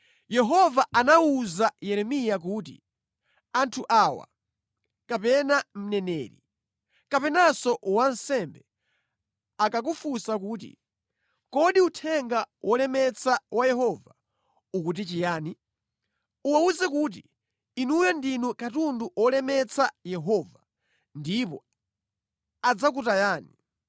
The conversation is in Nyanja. Yehova anawuza Yeremiya kuti, “Anthu awa, kapena mneneri, kapenanso wansembe, akakufunsa kuti, ‘Kodi uthenga wolemetsa wa Yehova ukuti chiyani?’ uwawuze kuti, ‘Inuyo ndinu katundu wolemetsa Yehova, ndipo adzakutayani.’